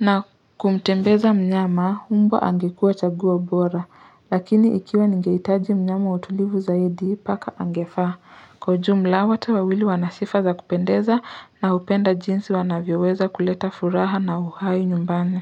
na kumtembeza mnyama mbwa angekua chaguo bora Lakini ikiwa ningeitaji mnyama utulivu zaidi paka angefaa Kwa ujumla wote wawili wanasifa za kupendeza naupenda jinsi wanavyeweza kuleta furaha na uhai nyumbani.